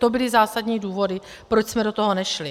To byly zásadní důvody, proč jsme do toho nešli.